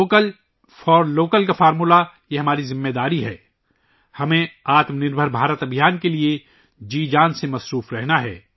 vocal for local کا منتر ، یہ ہماری ذمہ داری ہے کہ ہم آتم نربھر بھارت کے لئے جی جان سے جٹے رہیں